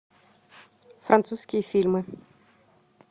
французские фильмы